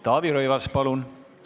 Taavi Rõivas, palun!